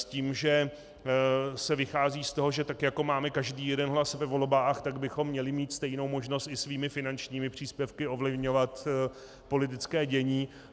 S tím, že se vychází z toho, že tak jako máme každý jeden hlas ve volbách, tak bychom měli mít stejnou možnost i svými finančními příspěvky ovlivňovat politické dění.